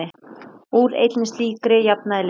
Úr einni slíkri jafnaði liðið.